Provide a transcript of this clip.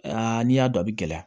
Aa n'i y'a dɔn a bɛ gɛlɛya